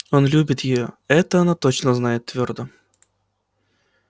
он любит её это она точно знает твёрдо